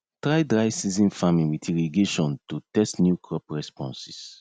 try dryseason farming with irrigationto tst new crop responses